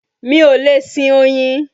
Mi ò lè sin oyin